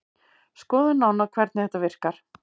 Skoðum nánar hvernig þetta virkar.